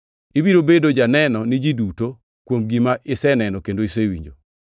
Ibiro bedo janeno ni ji duto, kuom gima iseneno kendo isewinjo.